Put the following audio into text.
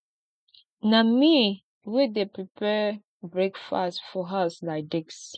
na me wey dey prepare breakfast for house like dis